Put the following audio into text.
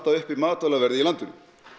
uppi matvælaverði í landinu